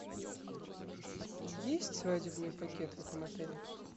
есть свадебный пакет в этом отеле